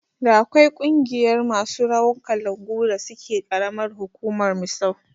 Da akwai ƙungiyar masu rawar kalangu da suke karamar hukumar Misau